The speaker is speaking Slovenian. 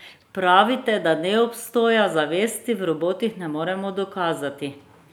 Pravite, da neobstoja zavesti v robotih ne moremo dokazati.